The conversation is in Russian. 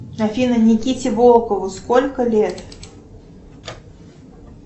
афина никите волкову сколько лет